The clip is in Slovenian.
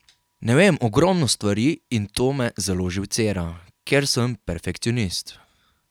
Ne vem ogromno stvari in to me zelo živcira, ker sem perfekcionist.